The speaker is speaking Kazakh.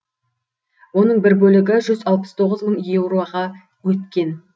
оның бір бөлігі жүз алпыс тоғыз мың еуроға өткен